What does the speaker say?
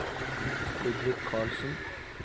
Ludvig Carlsen